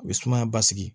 U bɛ sumaya basigi